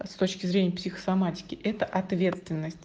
с точки зрения психосоматики это ответственность